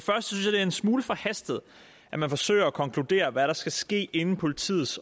er en smule forhastet at man forsøger at konkludere hvad der skal ske inden politiet